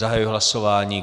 Zahajuji hlasování.